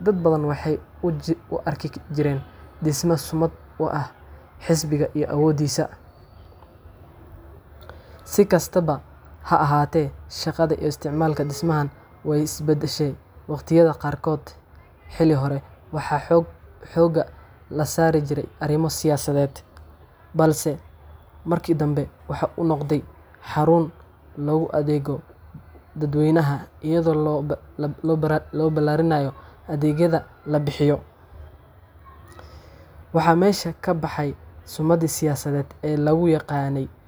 Dad badan waxay u arki jireen dhisme sumad u ah xisbigaas iyo awooddiisa. Si kastaba ha ahaatee, shaqada iyo isticmaalka dhismahan way is beddeshay waqtiyada qaarkood. Xilli hore waxaa xoogga la saaray arrimo siyaasadeed, balse markii dambe waxa uu noqday xarun loogu adeegayo dadweynaha, iyada oo la ballaariyay adeegyada laga bixiyo. Waxaa meesha ka baxay sumaddii siyaasadeed ee lagu yaqaanay.